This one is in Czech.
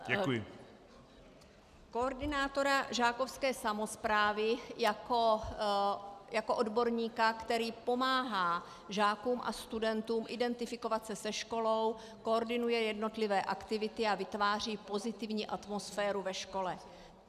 Koordinátora žákovské samosprávy jako odborníka, který pomáhá žákům a studentům identifikovat se se školou, koordinuje jednotlivé aktivity a vytváří pozitivní atmosféru ve škole.